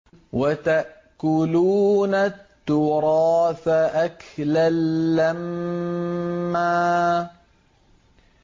وَتَأْكُلُونَ التُّرَاثَ أَكْلًا لَّمًّا